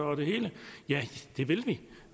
og det hele ja det vil vi